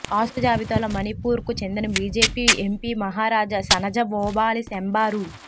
ఆస్తుల జాబితాలో మణిపూర్ కు చెందిన బీజేపీ ఎంపీ మహారాజ శనజవోబాలీ షెంబా రూ